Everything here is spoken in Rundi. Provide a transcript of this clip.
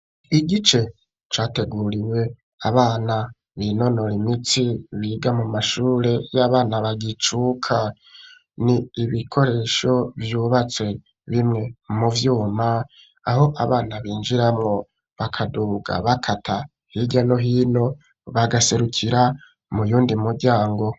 Igice categuriwe abana binonora imitsi, biga mu mashure y'abana bagicuka. Ni ibikoresho vyubatse, bimwe mu vyuma, aho abana binjiramwo, bakaduga bakata hirya no hino, bagaserukira muyundi muryango.